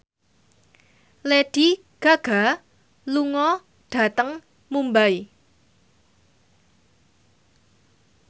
Lady Gaga lunga dhateng Mumbai